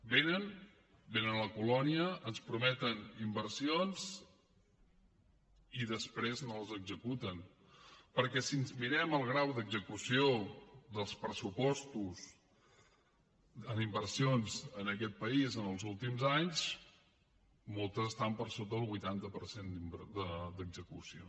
venen venen a la colònia ens prometen inversions i després no les executen perquè si ens mirem el grau d’execució dels pressupostos en inversions en aquest país en els últims anys moltes estan per sota del vuitanta per cent d’execució